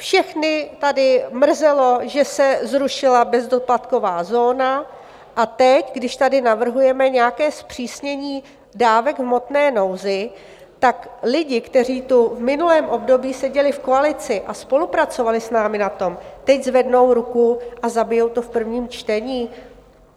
Všechny tady mrzelo, že se zrušila bezdoplatková zóna, a teď, když tady navrhujeme nějaké zpřísnění dávek v hmotné nouzi, tak lidi, kteří tu v minulém období seděli v koalici a spolupracovali s námi na tom, teď zvednou ruku a zabijou to v prvním čtení?